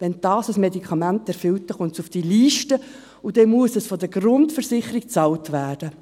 Wenn ein Medikament diese erfüllt, kommt es auf diese Liste und muss von der Grundversicherung bezahlt werden.